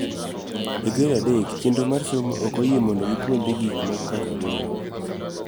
E gred adek, chenro mar somo ok oyie mondo gipuonjre gik moko kaka goro.